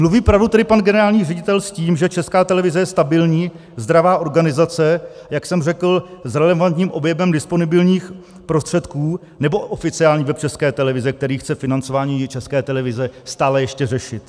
Mluví pravdu tedy pan generální ředitel s tím, že Česká televize je stabilní zdravá organizace, jak jsem řekl, s relevantním objemem disponibilních prostředků, nebo oficiální web České televize, který chce financování České televize stále ještě řešit?